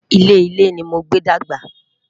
ilé ilé ní mogbe dàgbà